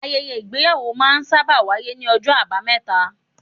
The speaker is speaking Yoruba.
Ayẹyẹ Ìgbéyàwó máa ń sábà wáyé ní ọjọ́ abameta.